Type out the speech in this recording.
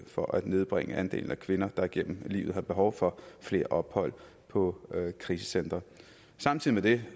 for at nedbringe andelen af kvinder der gennem livet har behov for flere ophold på krisecentre samtidig